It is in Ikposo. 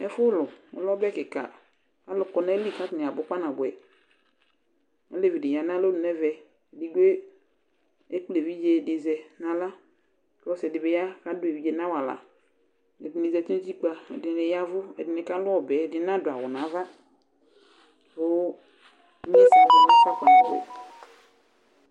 Ɛfʋ lʋ ,ɔlɛ ɔbɛ kɩka alʋ kɔ nayili k' atanɩabʋ kpanabʋɛOlevi dɩ ya nalonu nɛvɛ, ekple evidze dɩ zɛ naɣla,k' ɔsɩɛ dɩ bɩ ya adʋ evidze nʋ awalaƐdɩnɩ zati nutikpǝ, ɛdɩnɩ yaɛvʋ, ɛdɩnɩ kalʋ ɔbɛ, ɛdɩnɩ nadʋ awʋ nava kʋ